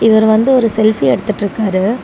இவர் வந்து ஒரு செல்ஃபி எடுத்துட்டுருக்காரு.